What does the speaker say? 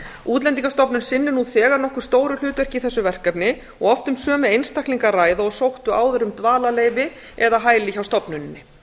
útlendingastofnun sinnir nú þegar nokkuð stóru hlutverki í þessu verkefni og oft um sömu einstaklinga að ræða og sóttu áður um dvalarleyfi eða hæli hjá stofnuninni